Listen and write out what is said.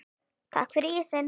Takk fyrir ísinn.